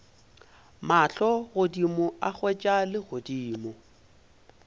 mahlo godimo a hwetša legodimo